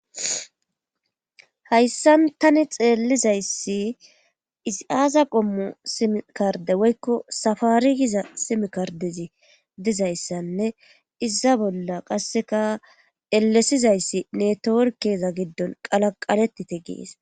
hayssan tani xeellizayssi isi aasa qommu simikarde woykko safari giza simikardezi dizayssanne iza bolla qasseka elesizayssi netoworkeeza giddon qalaqaletite gees